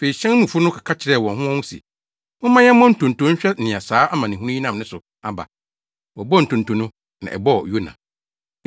Afei hyɛn no mufo no keka kyerɛɛ wɔn ho wɔn ho se, “Momma yɛmmɔ ntonto nhwehwɛ nea saa amanehunu yi nam ne so aba.” Wɔbɔɔ ntonto no na ɛbɔɔ Yona.